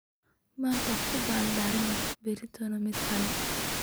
Manta kuuba lodorani baritona mid kale.